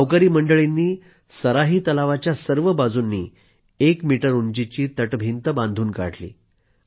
गावकरी मंडळींनी सराही तलावाच्या सर्व बाजूने एक मीटर उंचीची तटभिंतच बांधून काढली